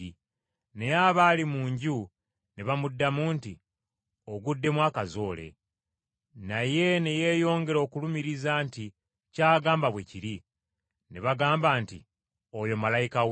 Naye abaali mu nju ne bamuddamu nti, “Oguddemu akazoole.” Naye ne yeyongera okulumiriza nti ky’agamba bwe kiri. Ne bagamba nti, “Oyo malayika we.”